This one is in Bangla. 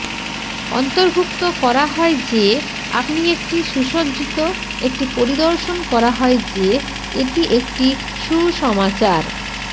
অন্তর্ভুক্ত করা হয় যে আপনি একটি সুসজ্জিত একটি পরিদর্শন করা হয় যে এটি একটি সুসমাচার